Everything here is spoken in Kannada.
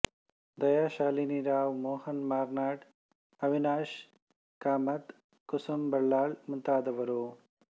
ದಯಾ ಶ್ಯಾಲಿನಿ ರಾವ್ ಮೋಹನ್ ಮಾರ್ನಾಡ್ ಅವಿನಾಶ್ ಕಾಮತ್ ಕುಸುಮ್ ಬಲ್ಲಾಳ್ ಮುಂತಾದವರು